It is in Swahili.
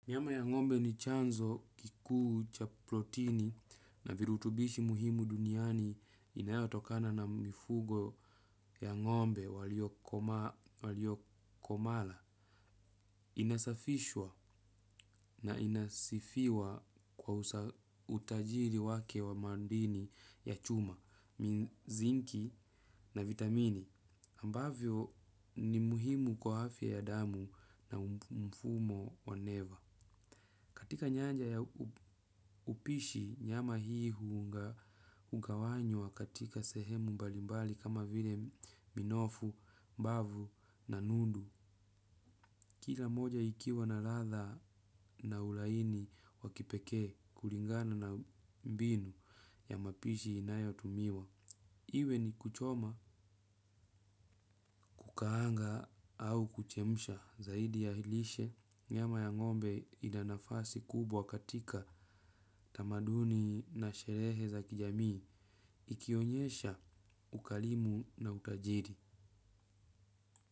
Nyama ya ngombe ni chanzo kikuu chaplotini na virutubishi muhimu duniani inayatokana na mifugo ya ngombe walio komala. Inasafishwa na inasifiwa kwa utajiri wake wa mandini ya chuma, mizinki na vitamini ambavyo ni muhimu kwa afya ya damu na mfumo wa neva. Katika nyanja ya upishi nyama hii hugawanywa katika sehemu mbalimbali kama vile minofu, mbavu na nundu. Kila moja ikiwa na ratha na ulaini wakipekee, kulingana na mbinu ya mapishi inayo tumiwa. Iwe ni kuchoma kukaanga au kuchemsha zaidi ya lishe nyama ya ngombe inanafasi kubwa katika tamaduni na sherehe za kijamii ikionyesha ukalimu na utajiri.